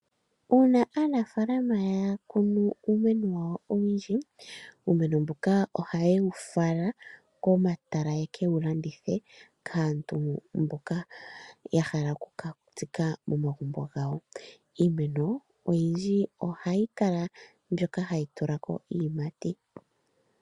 Una aanafalama ya kunu uumeno wa wo owundji, uumeno mbuka ohaye wu fala komatala ye ke wu landithe, kaantu mboka ya hala oku ka tsika momagumbo gawo. Iimeno oyindji ohayi kala mbyoka hayi tula ko iiyimati.